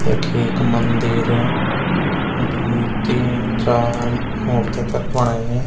यख एक मंदिर द्वि तीन चार मूर्ति तख बणयीं।